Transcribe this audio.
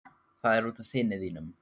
Það er út af syni þínum.